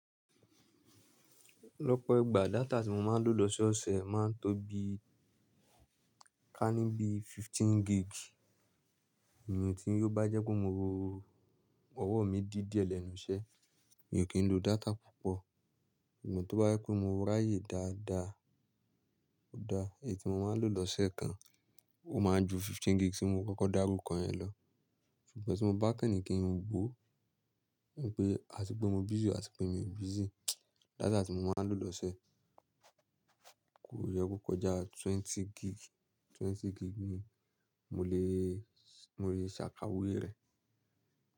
Lọ́pọ̀ ìgbà data tí mo máa ń lò lọ́sọ́ ọ̀sẹ̀ máa ń tó bí kání bí fifteen gig. Irú tí yóò bá jẹ́ pé mo ro owó mi dí díẹ̀ lẹ́nu iṣẹ́, mi ò kí ń lo data púpọ̀. Ṣugbọn tó bá jẹ́ pé mo ráàyè dáadáa, dáadáa, èyí tí mo máa ń lò lọ́sẹ̀ kan ó máa ń ju fifteen gig tí mo kọ́kọ́ dárú kọ yẹn lọ. Ṣùgbọ́n tí mo bá kàn ní kí ń wo, ń pé àti pé mo busy o àti pé mi ò busy, data tí mo máa ń lò lọ́sẹ̀ kò yẹ kó kọjá twenty gig, twenty gig ni mo lè, mo lè ṣàkàwé rẹ̀.